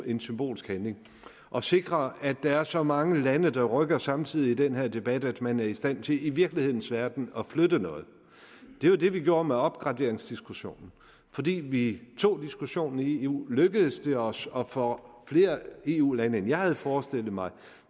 en symbolsk handling at sikre at der er så mange lande der rykker samtidig i den her debat at man er i stand til i virkelighedens verden at flytte noget det var det vi gjorde med opgraderingsdiskussionen fordi vi tog diskussionen i eu lykkedes det os at få flere eu lande end jeg havde forestillet mig